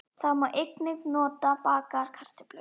Það má einnig nota á bakaðar kartöflur.